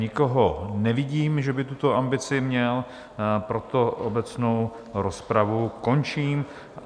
Nikoho nevidím, že by tuto ambici měl, proto obecnou rozpravu končím.